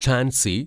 Jhansi